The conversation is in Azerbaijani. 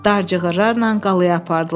Dar cığırlarla qalaya apardılar.